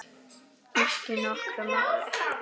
Ekki nokkru máli.